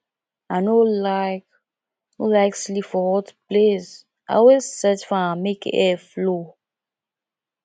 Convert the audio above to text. i no like no like sleep for hot place i always set fan make air flow